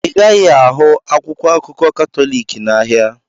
Ị gaghị ahụ akwụkwọ akụkọ Katọlik n'ahịa.